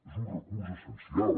és un recurs essencial